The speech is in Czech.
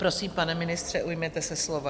Prosím, pane ministře, ujměte se slova.